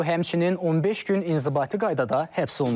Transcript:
O həmçinin 15 gün inzibati qaydada həbs olunub.